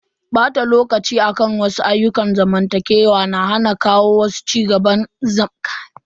Bata lokaci akan wasu ayyukan zamantakewa na hana kawo cigaba ga rayuwar mutum.